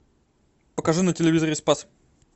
покажи на телевизоре спас